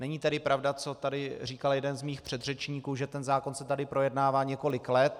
Není tedy pravda, co tady říkal jeden z mých předřečníků, že ten zákon se tady projednává několik let.